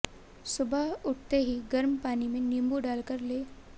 सुबह उठते ही गर्म पानी में नींबू डालकर लें